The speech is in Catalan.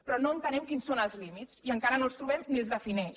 però no entenem quins són els límits i encara no els trobem ni els defineix